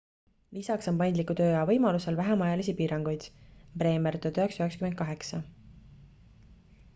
lisaks on paindliku tööaja võimalusel vähem ajalisi piiranguid. bremer 1998